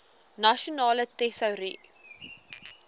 nasionale tesourie